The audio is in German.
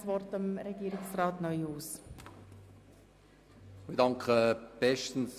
Jetzt erteile ich gerne Regierungsrat Neuhaus das Wort.